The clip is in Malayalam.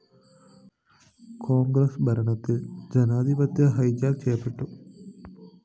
കോണ്‍ഗ്രസ് ഭരണത്തില്‍ ജനാധിപത്യം ഹൈജാക്ക് ചെയ്യപ്പെട്ടു